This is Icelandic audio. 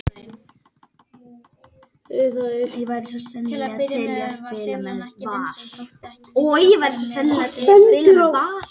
Tuttugu mínútum síðar les Ásbjörn á skjánum inn í kompu hjá sér